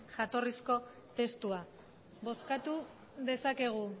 jatorrizko testua bozkatu dezakegu